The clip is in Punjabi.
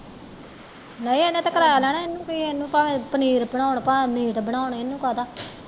ਨਹੀਂ ਇਹਨੇ ਤੇ ਕਿਰਾਇਆ ਲੈਣਾ ਇਹਨੂੰ ਕਿ ਹੈ ਇਹਨੂੰ ਭਾਵੇਂ ਪਨੀਰ ਬਨਾਉਣ ਭਾਵੇਂ ਮੀਟ ਬਨਾਉਣ ਇਹਨੂੰ ਕਾਹਦਾ